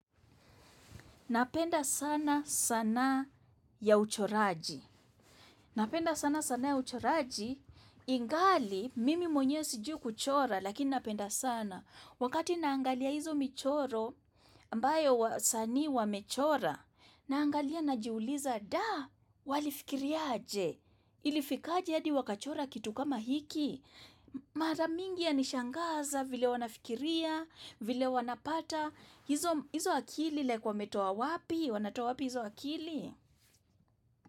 Napenda sana sana ya uchoraji. Napenda sana sana ya uchoraji. Ingali, mimi mwenye sijui kuchora, lakini napenda sana. Wakati naangalia hizo michoro, ambayo wasanii wamechora. Naangalia najiuliza, da, walifikiriaje. Ilifikaje hadi wakachora kitu kama hiki. Mara mingi ya nishangaza, vile wanafikiria, vile wanapata. Hizo akili like wametoa wapi? Wanatoa wapi hizo akili?